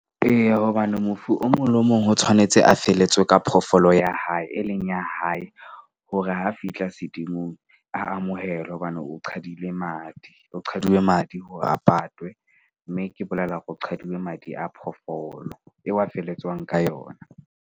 Eya, hobane mofu o mong le o mong ho tshwanetse a felletswe ka phoofolo ya hae, e leng ya hae hore ha fihla sedumong a amohelwe. Hobane o qhadile madi, ho qaduwe madi hore a patwe. Mme ke bolela hore o qhadile madi a phoofolo eo a felletswang ka yona.